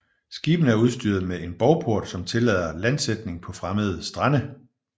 Skibene er udstyret med en bovport som tillader landsætning på fremmede strande